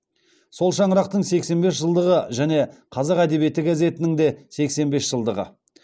сол шаңырақтың сексен бес жылдығы және қазақ әдебиеті газетінің де сексен бес жылдығы